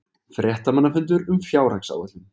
Fréttamannafundur um fjárhagsáætlun